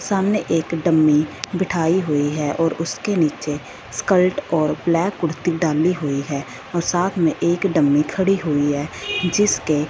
सामने एक डमी बीठाई हुई है और उसके नीचे स्कल्ट और ब्लैक कुर्ती डाली हुई है और साथ में एक डमी खड़ी हुई है जिसके--